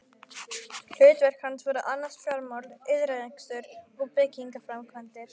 Hlutverk hans var að annast fjármál, iðnrekstur og byggingaframkvæmdir.